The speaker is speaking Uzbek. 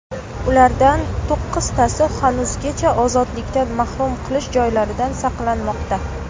Ulardan to‘qqiztasi hanuzgacha ozodlikdan mahrum qilish joylaridan saqlanmoqda.